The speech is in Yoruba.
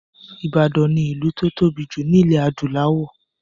Ìbàdàn ni ìlú tó tóbi jù lọ ní ilẹ̀ adúláwọ̀.